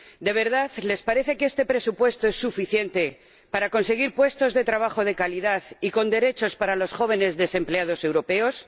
¿De verdad les parece que este presupuesto es suficiente para conseguir puestos de trabajo de calidad y con derechos para los jóvenes desempleados europeos?